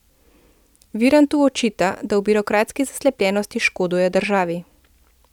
Virantu očita, da v birokratski zaslepljenosti škoduje državi.